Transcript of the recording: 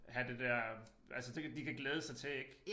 Have det der altså ting de kan glæde sig til ik